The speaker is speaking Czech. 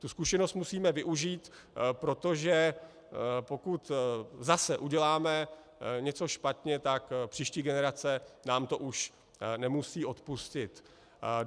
Tu zkušenost musíme využít, protože pokud zase uděláme něco špatně, tak příští generace nám to už nemusí odpustit.